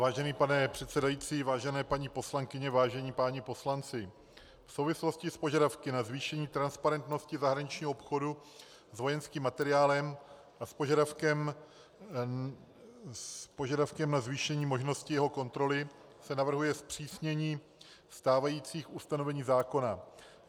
Vážený pane předsedající, vážené paní poslankyně, vážení páni poslanci, v souvislosti s požadavky na zvýšení transparentnosti zahraničního obchodu s vojenským materiálem a s požadavkem na zvýšení možnosti jeho kontroly se navrhuje zpřísnění stávajících ustanovení zákona.